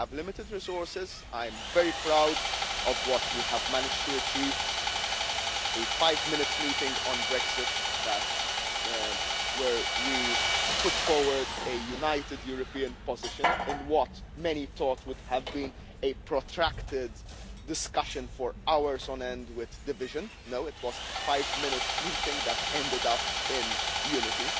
are. We have limited resources, and I am very proud of what we have managed to achieve a five-minute meeting on Brexit where we put forward a united European position in what many thought would have been a protracted discussion for hours on end with divisions. No it was a five minute meeting that ended